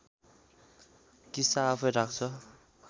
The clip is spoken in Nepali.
किस्ता आफैँ राख्छ